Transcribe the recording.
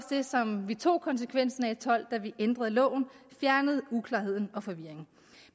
det som vi tog konsekvensen af og tolv da vi ændrede loven vi fjernede uklarheden og forvirringen